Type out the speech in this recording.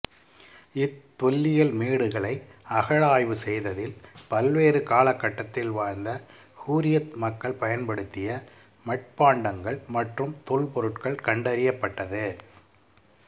இத்தொல்லியல் மேடுகளை அகழாய்வு செய்ததில் பல்வேறு காலகட்டத்தில் வாழ்ந்த ஹுரியத் மக்கள் பயன்படுத்திய மட்பாண்டங்கள் மற்றும் தொல்பொருட்கள் கண்டறியப்பட்டது